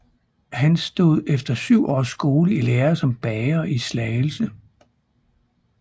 Han stod efter syv års skole i lære som bager i Slagelse